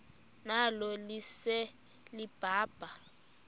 nalo lise libaha